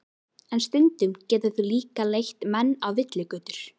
En stundum geta þau líka leitt menn á villigötur.